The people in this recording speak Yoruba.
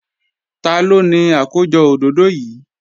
Taló ni àkójọ òdòdó yìí?